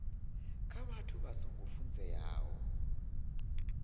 kha vhathu vha songo funzeaho